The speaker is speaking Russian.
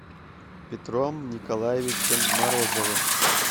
петром николаевичем морозовым